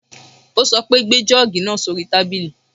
Ó sọ pé, gbé jọ́ọ̀gì náà sóri tábìlì.